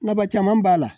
Nafaba caman b'a la